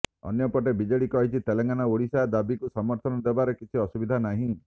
ଅନ୍ୟପଟେ ବିଜେଡି କହିଛି ତେଲେଙ୍ଗାନା ଓଡିଶା ଦାବୀକୁ ସମର୍ଥନ ଦେବାରେ କିଛି ଅସୁବିଧା ନାହିଁ